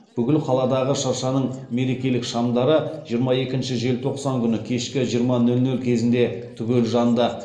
бүкіл қаладағы шыршаның мерекелік шамдары жиырма екінші желтоқсан күні кешкі жиырма нөл нөл кезінде түгел жанды